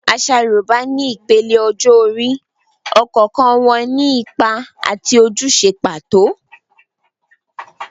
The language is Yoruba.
Àṣà Yorùbá ní ìpele ọjọ́ orí, ọ̀kọ̀ọ̀kan wọn ní ipa àti ojúṣe pàtó.